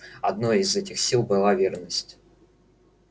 одной из этих сил была верность